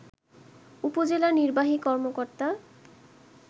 উপজেলা নির্বাহী কর্মকর্তা